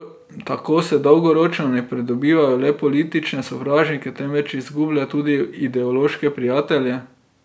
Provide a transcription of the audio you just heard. Tako se dolgoročno ne pridobiva le politične sovražnike, temveč izgublja tudi ideološke prijatelje.